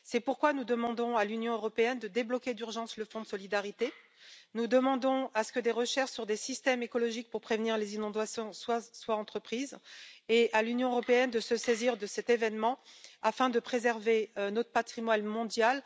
C'est pourquoi nous demandons à l'Union européenne de débloquer d'urgence le Fonds de solidarité, nous demandons que des recherches sur des systèmes écologiques pour prévenir les inondations soient entreprises et nous demandons à l'Union européenne de se saisir de cet événement afin de préserver notre patrimoine mondial.